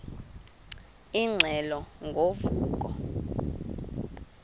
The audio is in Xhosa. ingxelo ngo vuko